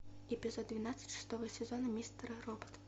эпизод двенадцать шестого сезона мистера робот